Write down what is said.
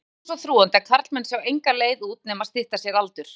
Oft er þöggunin svo þrúgandi að karlmenn sjá enga leið út nema stytta sér aldur.